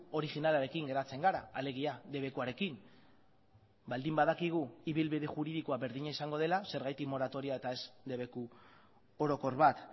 originalarekin geratzen gara alegia debekuarekin baldin badakigu ibilbide juridikoa berdina izango dela zergatik moratoria eta ez debeku orokor bat